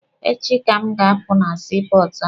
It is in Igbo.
Echi ka m ga-apụ na sii pọọtụ ahụ.